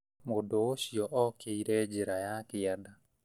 Mũndũ ũcio okĩire njira ya kĩanda